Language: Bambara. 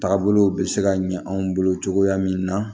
Taagabolow bɛ se ka ɲɛ anw bolo cogoya min na